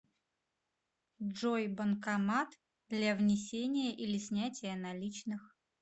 джой банкомат для внесения или снятия наличных